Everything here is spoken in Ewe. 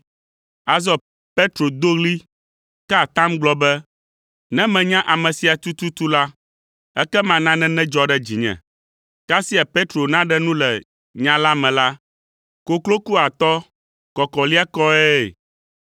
Azɔ Petro do ɣli, ka atam gblɔ be, “Ne menya ame sia tututu la, ekema nane nedzɔ ɖe dzinye.” Kasia Petro naɖe nu le nya la me la, koklo ku atɔ “kɔkɔliakɔe.”